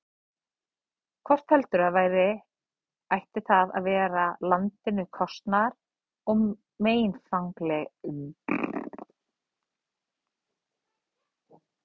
Hvort heldur sem væri, ætti það að vera landinu kostnaðar- og meinfangalítið.